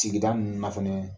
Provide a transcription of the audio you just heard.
tigida ninnu na fɛnɛ